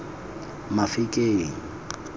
mafikeng